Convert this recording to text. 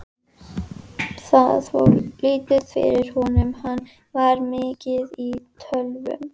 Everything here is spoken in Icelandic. Það fór lítið fyrir honum, hann var mikið í tölvum.